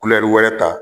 wɛrɛ ta